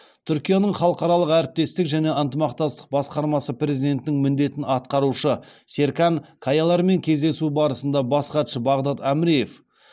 түркияның халықаралық әрекеттестік және ынтымақтастық басқармасы президентінің міндетін атқарушы серкан каялармен кездесу барысында бас хатшы бағдад әміреев